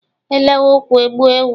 E lewe ukwu e gbuo ewu.